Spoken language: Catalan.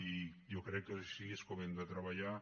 i jo crec que així és com hem de treballar